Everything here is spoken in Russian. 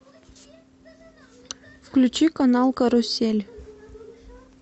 включи канал карусель